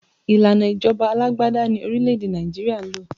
Ìlànà ìjọba alágbádá ni orílẹ̀ èdè Nàìjíríà ń lò